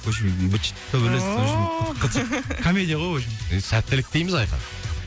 в общем быт шыт төбелес ооо комедия ғой в общем сәттілік тілейміз айқын